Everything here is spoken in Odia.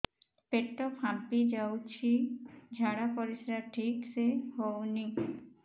ପେଟ ଫାମ୍ପି ଯାଉଛି ଝାଡ଼ା ପରିସ୍ରା ଠିକ ସେ ହଉନି